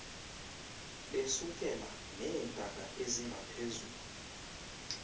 besukela neentaka ezingaphezu